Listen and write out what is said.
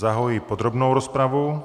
Zahajuji podrobnou rozpravu.